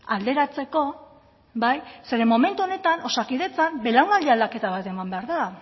alderatzeko bai zeren momentu honetan osakidetzan belaunaldi aldaketa bat eman behar da